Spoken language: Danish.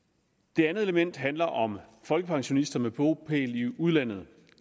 det andet element handler om folkepensionister med bopæl i udlandet